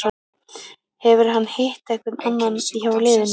Hefur hann hitt einhvern annan hjá liðinu?